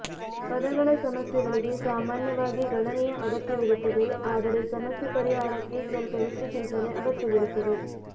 ಪದಗಳ ಸಮಸ್ಯೆಗಳಿಗೆ ಸಾಮಾನ್ಯವಾಗಿ ಗಣನೆಯ ಅಗತ್ಯವಿರುತ್ತದೆ ಆದರೆ ಸಮಸ್ಯೆ ಪರಿಹಾರಕ್ಕೆ ಸ್ವಲ್ಪ ಹೆಚ್ಚು ಚಿಂತನೆ ಅಗತ್ಯವಿರುತ್ತದೆ